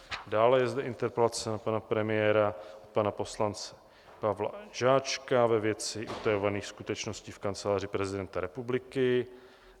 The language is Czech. Dále je zde interpelace na pana premiéra od pana poslance Pavla Žáčka ve věci utajovaných skutečností v Kanceláři prezidenta republiky.